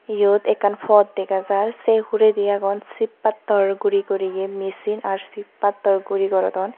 iyot ekkan pot dega jar se huredi agon ship pattor guri guriye machine aro ship pattor guri gorodon.